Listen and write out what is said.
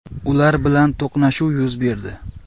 Ular bilan to‘qnashuv yuz berdi.